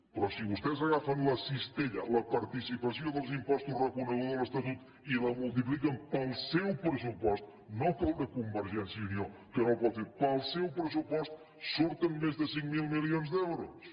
però si vostès agafen la cistella la participació dels impostos reconeguda a l’estatut i la multipliquen pel seu pressupost no pel de convergència i unió que no ho pot fer pel seu pressupost surten més de cinc mil milions d’euros